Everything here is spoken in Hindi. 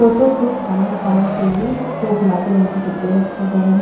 तोतो को खाने खाने के लिए दो गुलाबी रंग के डब्बे रखे गए हैं।